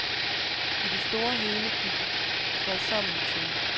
I det store og hele gik det fredsommeligt til.